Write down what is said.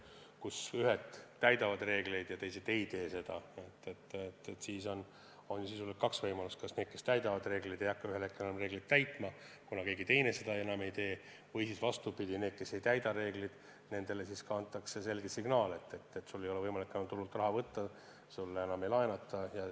Kui ühed täidavad reegleid ja teised ei tee seda, siis on sisuliselt kaks võimalust: need, kes täidavad reegleid, ei hakka ühel hetkel enam reegleid täitma, kuna keegi teine seda enam ei tee, või siis antakse neile, kes ei täida reegleid, selge signaal, et neil ei ole võimalik enam turult raha võtta, neile enam ei laenata.